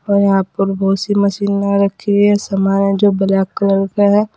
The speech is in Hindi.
और यहां पर बहुत सी मशीनें रखी हुई है सामान है जो ब्लैक कलर का हैं।